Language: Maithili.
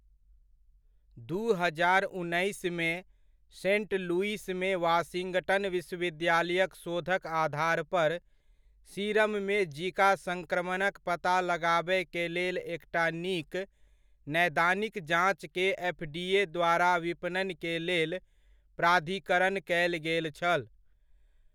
दू हजार उन्नैसमे, सेंट लुइसमे वाशिंगटन विश्वविद्यालयक शोधक आधारपर, सीरममे जीका संक्रमणक पता लगाबय केलेल एकटा नीक नैदानिक जाँचकेँ एफडीए द्वारा विपणन केलेल प्राधिकरण कयल गेल छल।